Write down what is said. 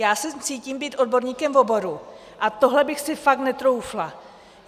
Já se cítím být odborníkem v oboru a tohle bych si fakt netroufla.